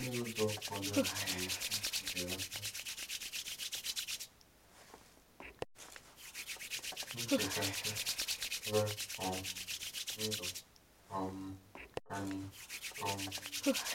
Olee ụzọ ụfọdụ anyị nwere ike isi belata nchekasị ná um ndụ um anyị? um